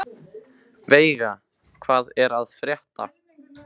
Veiga, hvað er að frétta?